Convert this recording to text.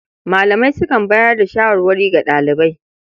Malamai sukan bayar da shawarwari ga ɗalibai.